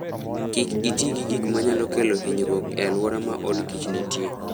Kik iti gi gik manyalo kelo hinyruok e alwora ma od kich nitie.